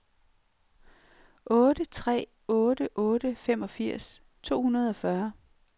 otte tre otte otte femogfirs to hundrede og fyrre